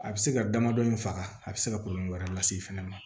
A bɛ se ka damadɔ in faga a bɛ se ka kɔlɔlɔ wɛrɛ lase i fɛnɛ ma